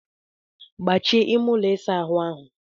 Gbachie ime ụlọ ịsa ahụ áhụ̀!